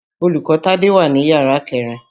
Olùkọ́ Tádé wà ní yàrá kẹ̀rin.